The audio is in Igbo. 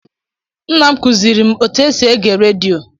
Nna m kụziiri m otú e si ege redio.